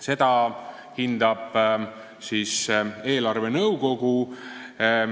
Seda eelarvenõukogu hindab.